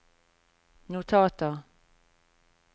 notater